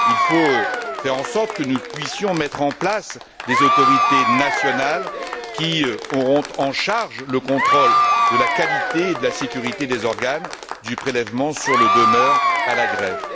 Il faut faire en sorte que nous puissions mettre en place des autorités nationales qui auront en charge le contrôle de la qualité et de la sécurité des organes, du prélèvement sur le donneur à la greffe.